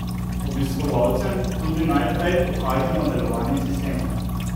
Obiskovalcem tudi najprej pokažemo delovanje sistema.